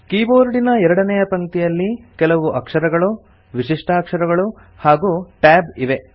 ಕೀಬೋರ್ಡಿನ ಎರಡನೇಯ ಪಂಕ್ತಿಯಲ್ಲಿ ಕೆಲವು ಅಕ್ಷರಗಳು ವಿಶಿಷ್ಟಾಕ್ಷರಗಳು ಹಾಗೂ Tab ಇವೆ